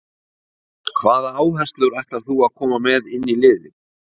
Hvaða áherslur ætlar þú koma með inn í liðið?